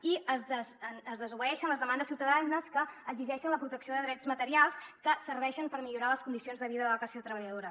i es desobeeixen les demandes ciutadanes que exigeixen la protecció de drets materials que serveixen per millorar les condicions de vida de la classe treballadora